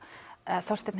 Þorsteinn